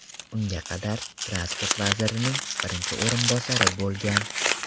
Unga qadar transport vazirining birinchi o‘rinbosari bo‘lgan.